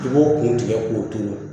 I b'o kun tigɛ k'o turu